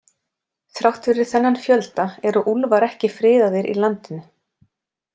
Þrátt fyrir þennan fjölda eru úlfar ekki friðaðir í landinu.